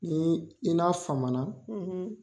Ni i n'a fama na.